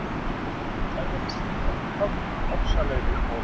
Þær verða sífellt hrárri, ofsalegri og